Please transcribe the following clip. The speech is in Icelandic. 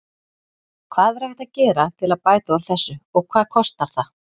Hvað er hægt að gera til að bæta úr þessu og hvað kostar það?